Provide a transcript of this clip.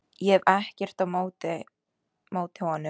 Ég hef ekkert á móti honum.